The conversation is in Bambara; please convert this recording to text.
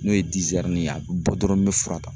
N'o ye ye a bɛ bɔ dɔrɔn n bɛ fura ta